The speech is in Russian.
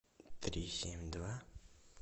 три семь два